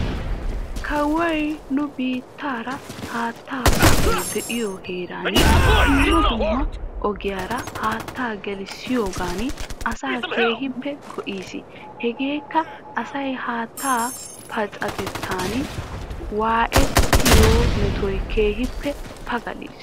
Kawoy nu biitaara haattaa pacay de''iyo heeran dumma dumma ogiyaara haattaa gelissiyoogan asaa keehippe go'is. Hegeeka asay haattaa pacayetan waayetiyo metuwaa keehippe pagalis.